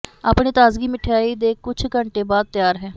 ਆਪਣੇ ਤਾਜ਼ਗੀ ਮਿਠਆਈ ਦੇ ਕੁਝ ਘੰਟੇ ਬਾਅਦ ਤਿਆਰ ਹੈ